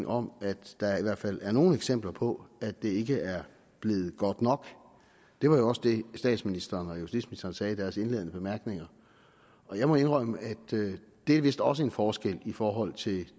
om at der i hvert fald er nogle eksempler på at det ikke er blevet godt nok det var jo også det statsministeren og justitsministeren sagde i deres indledende bemærkninger jeg må indrømme at det vist også er en forskel i forhold til